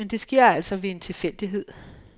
Men det sker altså ved en tilfældighed.